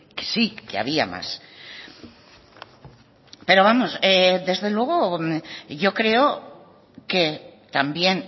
que sí que había más pero vamos desde luego yo creo que también